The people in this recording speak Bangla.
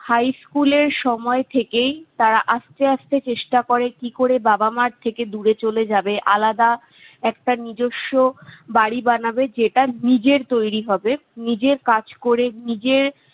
high school এর সময় থেকেই তারা আস্তে আস্তে চেষ্টা করে কি করে বাবা মা'র থেকে দূরে চলে যাবে। আলাদা একটা নিজেস্ব বাড়ি বানাবে যেটা নিজের তৈরি হবে, নিজের কাজ করে, নিজের-